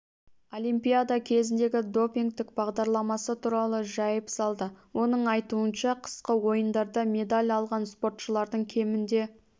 олимпиада кезіндегі допингтік бағдарламасы туралы жайып салды оның айтуынша қысқы ойындарда медаль алған спортшылардың кемінде